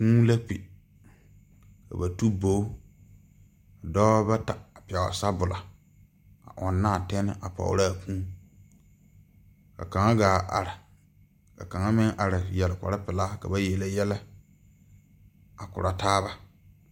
Kūū la kpi ka ba tu bogi dɔbɔ bata a pɛgle sabɔllɔ a ɔŋnaa tɛne a pɔgraa kūū ka kaŋa gaa are ka kaŋa meŋ are yɛre kpare pelaa ka ba yele yɛlɛ a korɔ taaba.